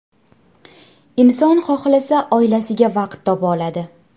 Inson xohlasa, oilasiga vaqt topa oladi.